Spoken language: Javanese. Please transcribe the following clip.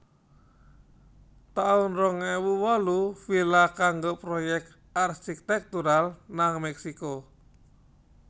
taun rong ewu wolu Villa kanggo proyèk arsitektural nang Meksiko